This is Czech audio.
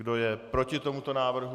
Kdo je proti tomuto návrhu?